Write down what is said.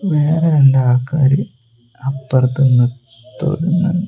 വേറെ രണ്ട് ആൾക്കാര് അപ്പുറത്ത്ന്ന് തൊഴുന്നുണ്ട്.